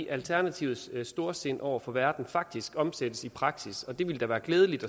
alternativets storsind over for verden faktisk omsættes i praksis og det ville da være glædeligt